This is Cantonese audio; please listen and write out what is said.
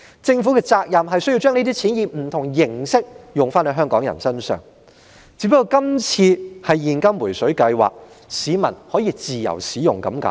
政府的責任是要把這些錢以不同形式用在香港人身上，只不過今次是現金"回水計劃"，市民可以自由使用而已。